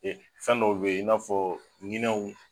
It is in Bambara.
Ee fɛn dɔw bɛ yen i n'a fɔ ɲinɛw.